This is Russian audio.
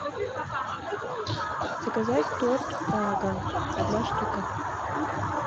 заказать торт прага одна штука